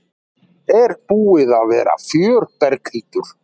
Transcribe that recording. Er búið að vera fjör Berghildur?